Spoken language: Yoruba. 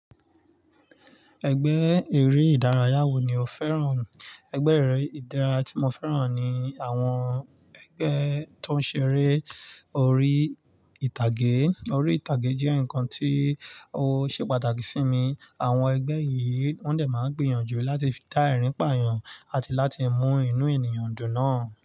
Ẹgbẹ́ eré ìdárayá wo ni o fẹ́ràn? Ẹgbẹ́ eré ìdárayá tí mo fẹ́ràn ni àwọn ẹgbẹ́ tó ń ṣeré orí ìtàgé. Orí ìtàgé jẹ́ nǹkan tí ó ṣe pàtàkì sí mi. Àwọn ẹgbẹ́ yìí wọ́n dẹ̀ máa ń gbìyànjú láti dá ẹ̀rín pààyàn àti láti mú inú ènìyàn dùn náà.